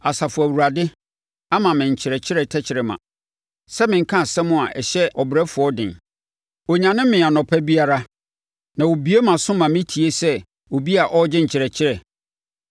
Asafo Awurade ama me nkyerɛkyerɛ tɛkrɛma sɛ ɛnka asɛm a ɛhyɛ ɔbrɛfoɔ den. Ɔnyane me anɔpa biara, na ɔbue mʼaso ma metie sɛ obi a ɔregye nkyerɛkyerɛ.